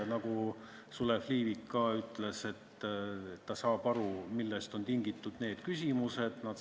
Nagu Sulev Liivik ütles, ta saab aru, millest on need küsimused tingitud.